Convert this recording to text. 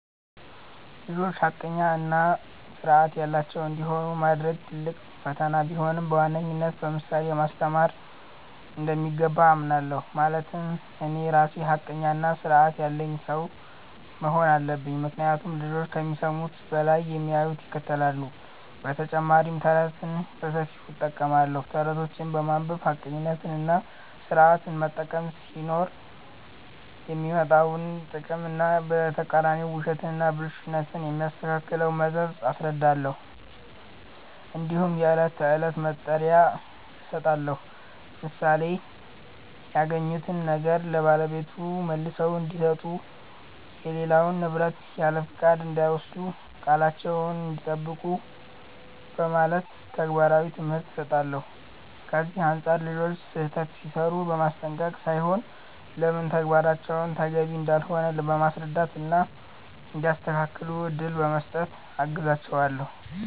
ልጆች ሐቀኛ እና ሥርዐት ያላቸው እንዲሆኑ ማድረግ ትልቅ ፈተና ቢሆንም፣ በዋነኝነት በምሳሌ ማስተማር እንደሚገባ አምናለሁ። ማለትም እኔ ራሴ ሐቀኛና ሥርዐት ያለኝ ሰው መሆን አለብኝ፤ ምክንያቱም ልጆች ከሚሰሙት በላይ የሚያዩትን ይከተላሉ። በተጨማሪም ተረትን በሰፊው እጠቀማለሁ። ተረቶችን በማንበብ ሐቀኝነትና ሥርዐትን መጠበቅ ሲኖር የሚመጣውን ጥቅም እና በተቃራኒው ውሸትና ብልሹነት የሚያስከትለውን መዘዝ አስረዳለሁ። እንዲሁም የዕለት ተዕለት መመሪያ እሰጣለሁ፣ ለምሳሌ “ያገኙትን ነገር ለባለቤቱ መልሰው እንዲሰጡ”፣ “የሌላውን ንብረት ያለፍቃድ እንዳይወስዱ”፣ “ቃላቸዉን እንዲጠብቁ ” በማለት ተግባራዊ ትምህርት እሰጣለሁ። ከዚህ አንጻር ልጆች ስህተት ሲሠሩ በማስጠንቀቅ ሳይሆን ለምን ተግባራቸው ተገቢ እንዳልሆነ በማስረዳት እና እንዲያስተካክሉ እድል በመስጠት አግዛቸዋለሁ።